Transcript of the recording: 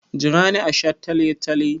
Jira ni a shataletale!